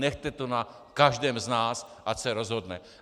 Nechte to na každém z nás, ať se rozhodne.